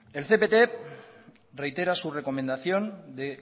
el cpt reitera su recomendación de